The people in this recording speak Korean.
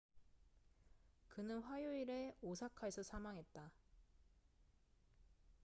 그는 화요일에 오사카에서 사망했다